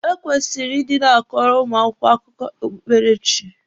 E kwesịrị ị dị na-akọrọ ụmụ akwụkwọ akụkọ okpukpere chi.